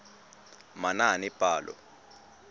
manaanepalo